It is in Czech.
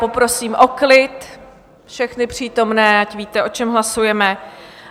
Poprosím o klid všechny přítomné, ať víte, o čem hlasujeme.